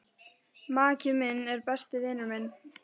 Maki minn er besti vinur minn.